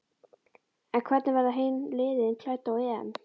En hvernig verða hin liðin klædd á EM?